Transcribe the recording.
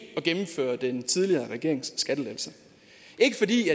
at gennemføre den tidligere regerings skattelettelser ikke fordi